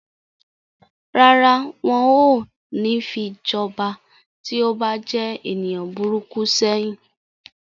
Rárá, wọn ò ní fi jọba tí ó bá jẹ́ ènìyàn burúkú sẹ́yìn.